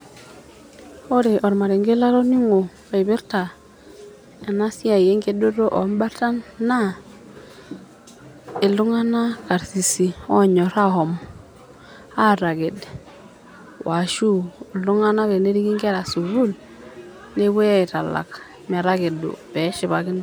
Oree olmarenge latoning'o loipirta ena siai enkedore oo mbartan, naa iltung'ana karsisi oonyor ashom ataked, oo ashu iltung'ana teneriki ng'era sukul nepuoi aitalak metakedo pee eshipakino.